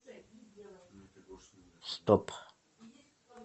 стоп